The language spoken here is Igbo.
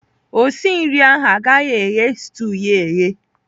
Osi nri ahụ agaghị eghe stuu ya eghe.